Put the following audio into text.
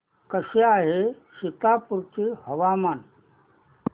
कसे आहे सीतापुर चे हवामान